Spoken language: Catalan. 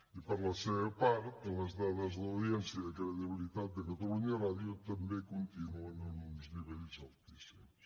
i per la seva part les dades d’audiència i de credibilitat de catalunya ràdio també continuen en uns nivells altíssims